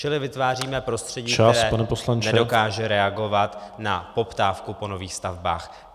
Čili vytváříme prostředí , které nedokáže reagovat na poptávku po nových stavbách.